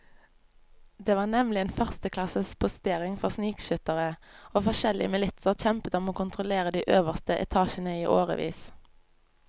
Det var nemlig en førsteklasses postering for snikskyttere, og forskjellige militser kjempet om å kontrollere de øverste etasjene i årevis.